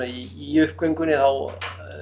í uppgöngunni þá